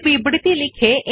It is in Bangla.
আমরা এখন লেখার জন্য প্রস্তুত